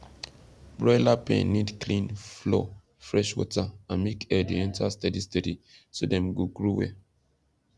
broiler pen need clean floor fresh water and make air dey enter steady steady so dem go grow wel